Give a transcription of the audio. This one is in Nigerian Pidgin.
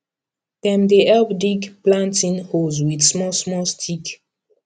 dem dey help dig planting holes with smallsmall stick